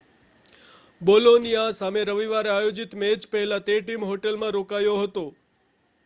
Bologna સામે રવિવારે આયોજિત મેચ પહેલાં તે ટીમ હોટેલમાં રોકાયો હતો